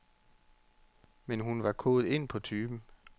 Men hun var kodet ind på typen.